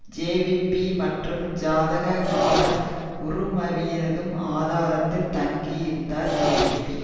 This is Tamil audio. ஜேவிபி மற்றும் ஜாதிக ஹெல உறுமயவினதும் ஆதாரதில் தங்கியிருந்தார் ஜேவிபி